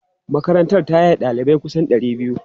Makarantar ta yaye ɗalibai kusan ɗari biyu.